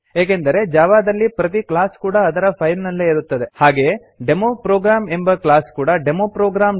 ಏಕೆಂದರೆ ಜಾವಾ ದಲ್ಲಿ ಪ್ರತಿ ಕ್ಲಾಸ್ ಕೂಡಾ ಅದರ ಫೈಲ್ ನಲ್ಲೇ ಇರುತ್ತದೆ ಹಾಗೆಯೇ ಡೆಮೊ ಪ್ರೋಗ್ರಾಮ್ ಎಂಬ ಕ್ಲಾಸ್ ಕೂಡಾ ಡೆಮೊ ಪ್ರೋಗ್ರಾಮ್